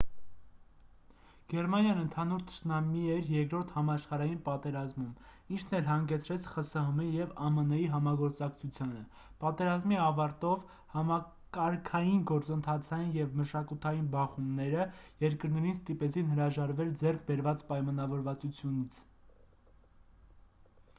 գերմանիան ընդհանուր թշնամի էր 2-րդ համաշխարհային պատերազմում ինչն էլ հանգեցրեց խսհմ-ի և ամն-ի համագործակցությանը պատերազմի ավարտով համակարգային գործընթացային և մշակութային բախոումները երկրներին ստիպեցին հրաժարվել ձեռք բերված պայմանավորվածությունից